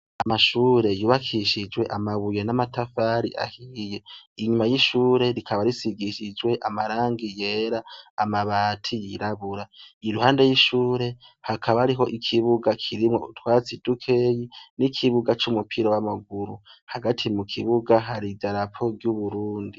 Amashure yubakishijwe amabuye n'amatafari ahiye inyuma y'ishure rikaba risigishijwe amarangi yera amabati yirabura i ruhande y'ishure hakaba ariho ikibuga kirimwo utwatsi dukeyi n'ikibuga c'umupira w'amaguru hagati mu kibuga hari i darapo ry'uburundi.